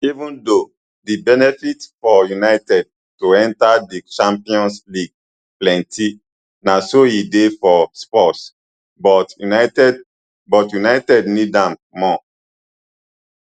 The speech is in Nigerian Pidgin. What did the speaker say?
even tho di benefits for united to enta di champions league plenti na so e dey for spurs but united but united need am more